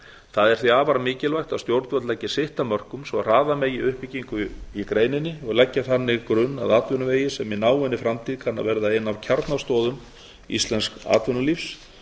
það er því afar mikilvægt að stjórnvöld leggi sitt af mörkum svo hraða megi uppbyggingu í greininni og leggja þannig grunn að atvinnuvegi sem í náinni framtíð kann að verða ein af kjarnastoðum íslensks atvinnulífs